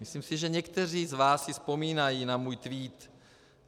Myslím si, že někteří z vás si vzpomínají na můj tweet